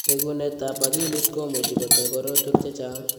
Bekunetab akilit ko much ko toi korotwek chechang'.